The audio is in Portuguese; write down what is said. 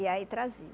E aí trazia.